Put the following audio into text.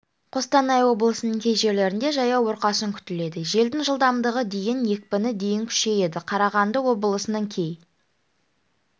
қостанай облысының кей жерлерінде жаяу бұрқасын күтіледі желдің жылдамдығы дейін екпіні дейін күшейеді қарағанды облысының кей